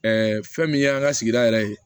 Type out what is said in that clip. fɛn min ye an ka sigida yɛrɛ ye